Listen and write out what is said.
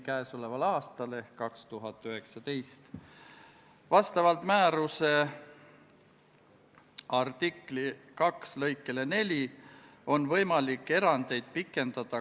Hääletustulemused Poolt hääletas 61 Riigikogu liiget, vastuolijaid ja erapooletuid ei olnud.